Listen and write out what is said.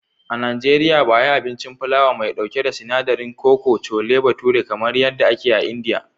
A Najeriya ba a yi abincin filawa mai ɗauke da sinadarin koko (chole bhature), kamar yadda ake yi a India.